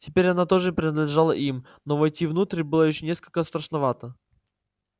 теперь она тоже принадлежала им но войти внутрь было ещё несколько страшновато